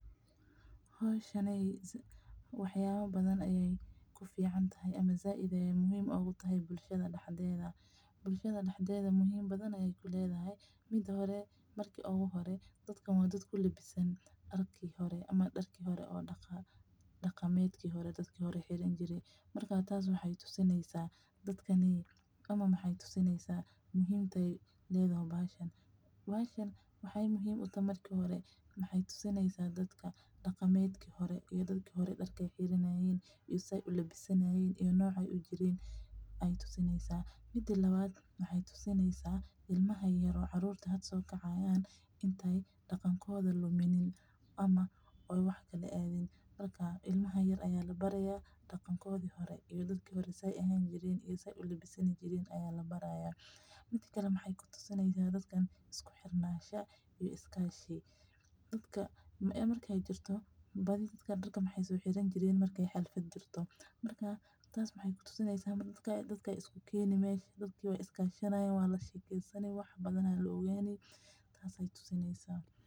Howshan wax yaabaha badan ayeey kufican tahay ama sait ayeey muhiim utahay bulshada dexdeeda sababta oo ah dadkan waa dad kulabisan maryihi hore dadka waxeey tusineysa dadki hore sida aay ulabisan jireen iyo ilmaha ayaa labaraaya sida dadki hore aay isku kashan jiree oo isku garab istaagi jireen waa lis jashanayaa saas ayeey tusineysa.